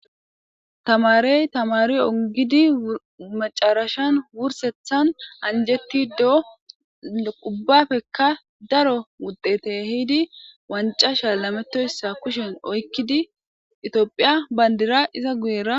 Tamarey Tamar ongid wursethan anjetido ubbappeka daro wuxete ehid qanc'a shalametoysa kushen oykid itophiya bandira iza guyera ...